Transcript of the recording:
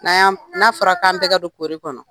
Na yan n'a fɔra k'an bɛ ka don kori kɔnɔ